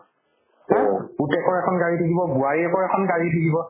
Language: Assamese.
আৰ্ পুতেকৰ এখন গাড়ী থাকিব বোৱাৰীয়েকৰ এখন গাড়ী থাকিব